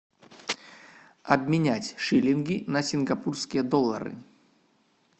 обменять шиллинги на сингапурские доллары